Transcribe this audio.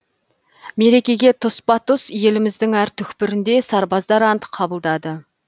мерекеге тұспа тұс еліміздің әр түкпірінде сарбаздар ант қабылдады